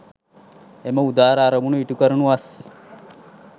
එම උදාර අරමුණු ඉටු කරනු වස්